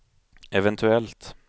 eventuellt